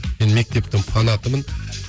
мен мектептің фанатымын